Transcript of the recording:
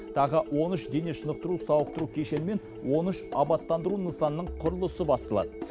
тағы он үш дене шынықтыру сауықтыру кешені мен он үш абаттандыру нысанының құрылысы басталады